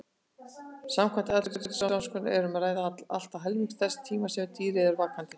Samkvæmt atferlisrannsóknum er um að ræða allt að helmingi þess tíma sem dýrið er vakandi.